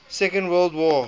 second world war